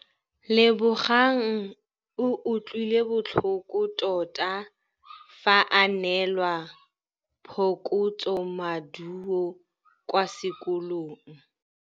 Lebogang o utlwile botlhoko tota fa a neelwa phokotsômaduô kwa sekolong.